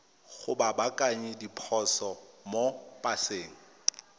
go baakanya diphoso mo paseng